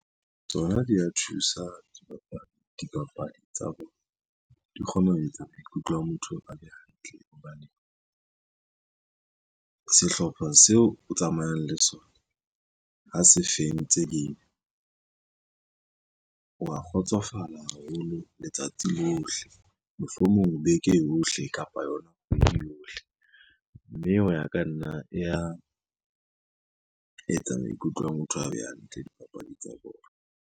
Tsona di a thusa dipapadi tsa bona, di kgone ho etsa maikutlo a motho a be hantle hobane sehlopha seo o tsamayang le sona ha se fentse game wa kgotsofala haholo letsatsi lohle, mohlomong beke yohle kapa yona kgwedi yohle, mme ho ya ka nna e etsa maikutlo a motho a be hantle dipapadi tsa bona.